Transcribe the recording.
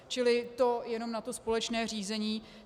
Čili to jenom na to společné řízení.